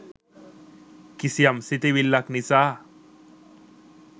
කිසියම් සිතිවිල්ලක් නිසා